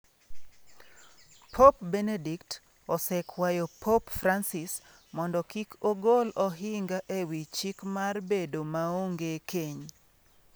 Pop Benedict osekwayo Pop Francis mondo kik ogol ohinga ewi chik mar bedo maonge keny